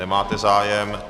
Nemáte zájem.